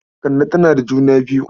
Kande tana da juna biyu.